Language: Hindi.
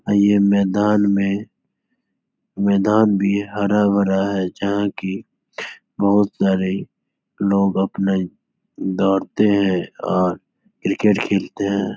अ ये मैदान में मैदान भी हरा-भरा है जहां की बहोत सारे लोग अपने दौड़ते हैं और क्रिकेट खेलते हैं।